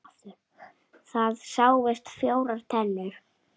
Það sáust fjórar tennur.